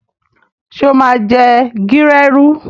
Sọ ma jẹ gírèrù?